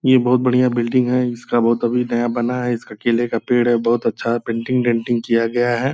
ये बहुत बढ़िया बिल्डिंग है। इसका बहुत अभी नया बना है। इसका केले का पेड़ है। बहुत अच्छा पेंटिंग डेंटिंग किया गया है।